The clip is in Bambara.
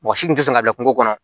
Mɔgɔ si tun tɛ sɔn ka kɛ kungo kɔnɔ